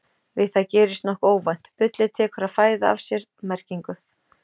Við það gerist nokkuð óvænt: bullið tekur að fæða af sér merkingu!